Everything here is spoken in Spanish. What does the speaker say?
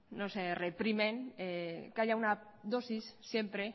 no se reprimen que haya una dosis siempre